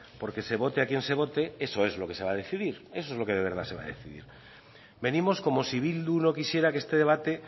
porque se vote a quien se vote eso es lo que se va a decidir eso es lo que de verdad se va a decidir venimos como si bildu no quisiera que este debate